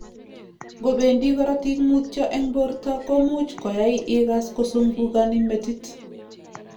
Ngo bendi korotik mutyo eng borto komuch koai igas kozungukani metit